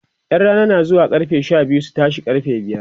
ƴan Rana na zuwa Sha biyu su tashe karfe biyar